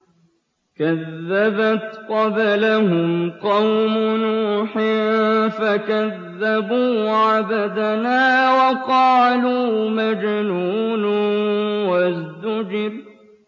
۞ كَذَّبَتْ قَبْلَهُمْ قَوْمُ نُوحٍ فَكَذَّبُوا عَبْدَنَا وَقَالُوا مَجْنُونٌ وَازْدُجِرَ